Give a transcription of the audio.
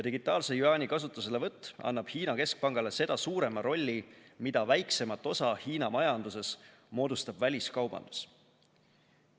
Digitaalse jüaani kasutuselevõtt annab Hiina keskpangale seda suurema rolli, mida väiksema osa Hiina majanduses moodustab väliskaubandus.